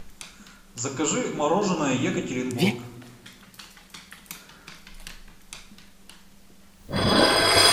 закажи мороженое екатеринбург